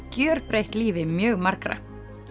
gjörbreytt lífi mjög margra